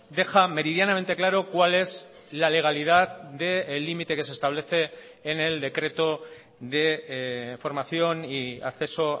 deja meridianamente claro cuál es la legalidad del límite que se establece en el decreto de formación y acceso